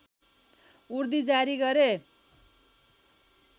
उर्दी जारी गरे